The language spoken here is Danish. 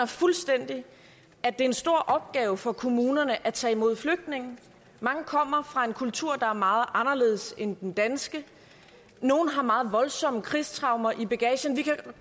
fuldstændig at det er en stor opgave for kommunerne at tage imod flygtninge mange kommer fra en kultur der er meget anderledes end den danske nogle har meget voldsomme krigstraumer i bagagen